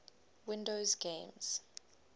windows games